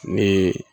Ni